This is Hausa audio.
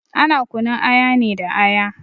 Ana kunun aya ne da aya.